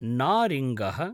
नारिङ्गः